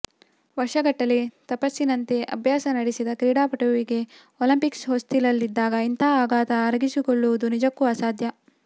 ವರ್ಷಗಟ್ಟಲೆ ತಪಸ್ಸಿನಂತೆ ಅಭ್ಯಾಸ ನಡೆಸಿದ ಕ್ರೀಡಾಪಟುವಿಗೆ ಒಲಿಂಪಿಕ್ಸ್ ಹೊಸ್ತಿಲಲ್ಲಿದ್ದಾಗ ಇಂತಹ ಆಘಾತ ಅರಗಿಸಿಕೊಳ್ಳುವುದು ನಿಜಕ್ಕೂ ಅಸಾಧ್ಯ